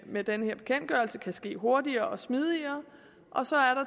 med den her bekendtgørelse kan ske hurtigere og smidigere